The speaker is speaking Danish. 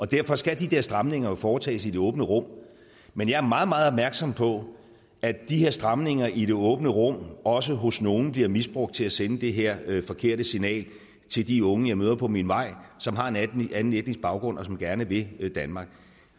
derfor skal de der stramninger jo foretages i det åbne rum men jeg er meget meget opmærksom på at de her stramninger i det åbne rum også hos nogle bliver misbrugt til at sende det her forkerte signal til de unge jeg møder på min vej som har en anden etnisk baggrund og som gerne vil danmark